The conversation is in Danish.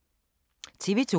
TV 2